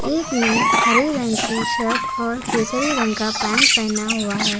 एक ने हरे रंग की शर्ट और केसरी रंग की पैंट पहना हुआ है।